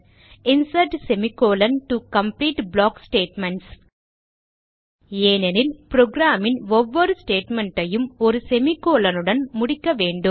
insert semi colon to complete block statements ஏனெனில் progam ன் ஒவ்வொரு statement ஐயும் ஒரு semicolon உடன் முடிக்க வேண்டும்